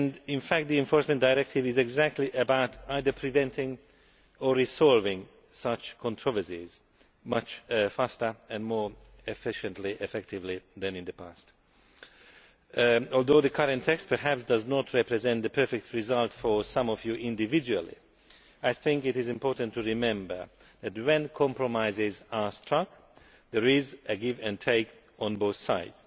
In fact the Enforcement Directive is exactly about either preventing or resolving such controversies much faster and more efficiently and effectively than in the past. Although the current text perhaps does not represent the perfect result for some of you individually, I think it is important to remember that, when compromises are struck, there is give and take on both sides.